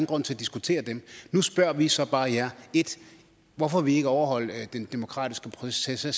grund til at diskutere dem nu spørger vi så bare jer 1 hvorfor vil i ikke overholde den demokratiske proces der